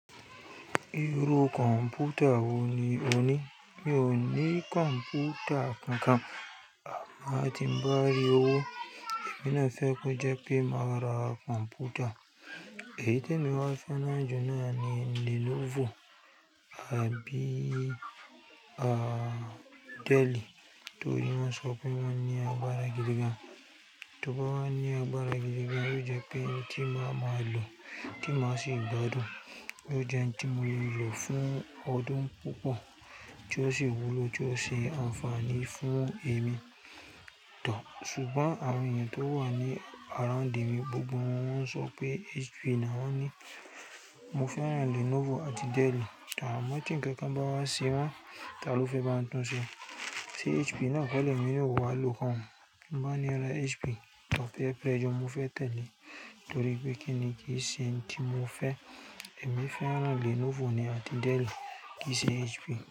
Irú kọ̀ǹpútà wo ni o ní? Mi ò ní kọ̀ǹpútà kankan, àmọ́ tí mo bá rí owó, èmi náà fẹ́ kó jẹ́ pé máa ra kọ̀ǹpútà. Èyí tí mo wá fẹ́ nájú náà ni Lenovo. Àbí Dell, torí wọ́n sọ pé wọ́n ní agbára gidi gan. Tóbá wa ní agbára gidi gan, yóò jẹ́ pé tí máa máa lò, tí máa sì gbádùn, yóò jẹ́ ohun tí mo yóò lò fún ọdún púpọ̀ tí ó sì wúlò, tí ó sì ṣe àǹfààní fún ẹ̀mí tán. Ṣùgbọ́n àwọn ènìyàn tó wà ní around èmi gbogbo wọ́n ń sọ pé HP ni a wá ní. Mo fẹ́ran Lenovo àti Dell tán, àmọ́ tí ń kankan bá wá sí wọn, ta ló fi máa ń tún ṣe? Sé HP náà kò le èmi na ọ̀ wá lo koun? Mo máa ni ẹ ra HP but péẹ̀r prẹ́ssure, mo fẹ́ tẹ́lẹ̀ torí pé kíni kí i ṣe tí mo fẹ́ ẹ̀mí fẹ́ran Lenovo ni àti Dell kìí ṣe HP.